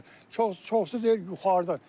Çoxu, çoxusu deyir yuxarıdan.